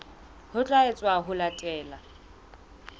ho tla etswa ho latela